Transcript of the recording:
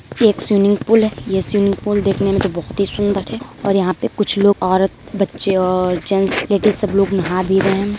ये एक swimming pool है। ये स्वीमिंग पूल देखने में तो बहोत ही सुंदर है और यहां पे कुछ लोग औरत बच्चे और जेन्स लेडिस सब लोग नहा भी रहे हैं।